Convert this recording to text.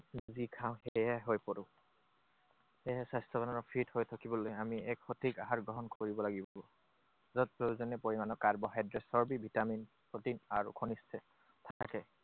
যি খাওঁ, সেইয়াই হৈ পৰো। সেয়েহে স্বাস্থ্যৱান আৰু fit হৈ থাকিবলৈ আমি সঠিক আহাৰ গ্ৰহণ কৰিব লাগিব। য'ত প্ৰয়োজনীয় পৰিমাণৰ কাৰ্বহাইড্ৰেট, চৰ্বী, ভিটামিন, প্ৰটিন আৰু খনিজ আছে থাকে।